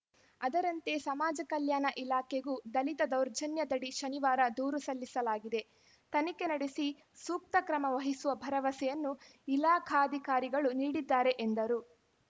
ಅದರಂತೆ ಸಮಾಜ ಕಲ್ಯಾಣ ಇಲಾಖೆಗೂ ದಲಿತ ದೌರ್ಜನ್ಯದಡಿ ಶನಿವಾರ ದೂರು ಸಲ್ಲಿಸಲಾಗಿದೆ ತನಿಖೆ ನಡೆಸಿ ಸೂಕ್ತ ಕ್ರಮ ವಹಿಸುವ ಭರವಸೆಯನ್ನು ಇಲಾಖಾಧಿಕಾರಿಗಳು ನೀಡಿದ್ದಾರೆ ಎಂದರು